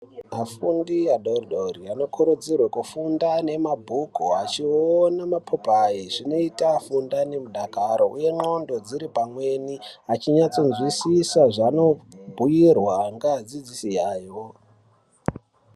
Vafundi vadodori vanokuridzirwa kuti afunde nemabhuku achiona mapopayi zvinota fundani nemudakaro nglondo dziripamweni achinatsonzwisisa zvanobhirwa ngevadzisi ayo.